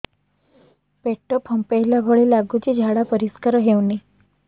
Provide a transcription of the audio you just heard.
ପେଟ ଫମ୍ପେଇଲା ଭଳି ଲାଗୁଛି ଝାଡା ପରିସ୍କାର ହେଉନି